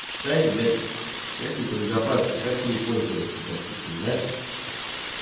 читай блять технику безопасности как с ней пользоваться допустим да